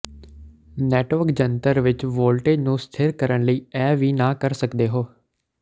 network ਜੰਤਰ ਵਿੱਚ voltage ਨੂੰ ਸਥਿਰ ਕਰਨ ਲਈ ਇਹ ਵੀ ਨਾ ਕਰ ਸਕਦੇ ਹੋ